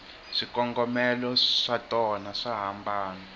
swikongomelo swatona swa hambana